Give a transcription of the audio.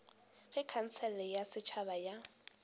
ge khansele ya setšhaba ya